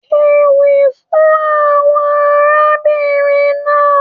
Kéwì fún àwọn arábìnrin náà.